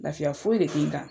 Lafiya foyi de te n kan.